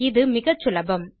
இது முகச்சுலபம்